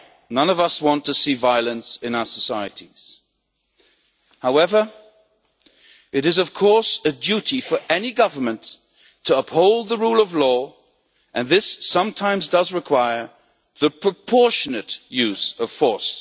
None of us want to see violence in our societies. However, it is a duty of any government to uphold the rule of law, and this sometimes requires the proportionate use of force.